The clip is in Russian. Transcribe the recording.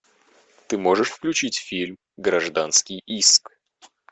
ты можешь включить фильм гражданский иск